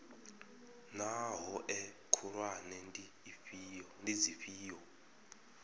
naa hoea khulwane ndi dzifhio